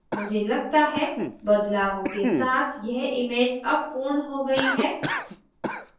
मुझे लगता है बदलावों के साथ यह image अब पूर्ण हो गयी है